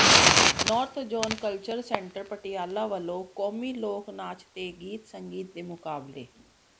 north zone culture centre Patiala ਵਲੋਂ ਕੌਮੀ ਲੋਕ ਨਾਚ ਤੇ ਗੀਤ ਸੰਗੀਤ ਦੇ ਮੁਕਾਬਲੇ